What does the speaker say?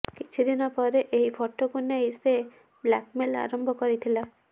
କିଛି ଦିନ ପରେ ଏହି ଫଟୋକୁ ନେଇ ସେ ବ୍ଲାକମେଲ୍ ଆରମ୍ଭ କରିଥିଲା